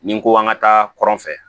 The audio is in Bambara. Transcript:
Ni ko an ka taa kɔrɔn fɛ